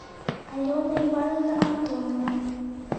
алена ивановна антонова